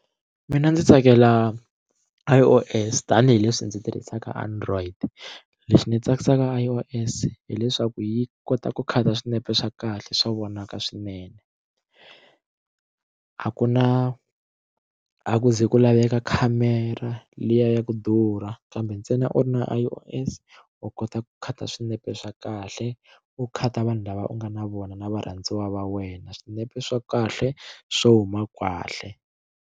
Ina ndzi tsakela I_O_S tanihileswi ndzi tirhisaka android lexi ndzi tsakisaka i o s hileswaku yi kota ku khata swinepe swa kahle swa vonaka swinene a ku na a ku ze ku laveka khamera liya ya ku durha kambe ntsena u ri na I_O_S u kota ku khata swinepe swa kahle u khata vanhu lava u nga na vona na varhandziwa va wena swinepe swa kahle swo huma kahle.